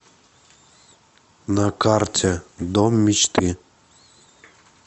на карте дом мечты